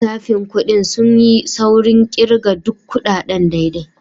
Masu lissafin kudi sun yi saurin kirga duk kudaden daidai.